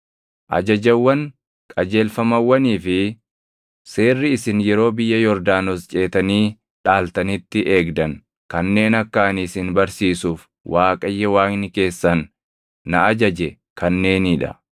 Ajajawwan, qajeelfamawwanii fi seerri isin yeroo biyya Yordaanos ceetanii dhaaltanitti eegdan kanneen akka ani isin barsiisuuf Waaqayyo Waaqni keessan na ajaje kanneenii dha;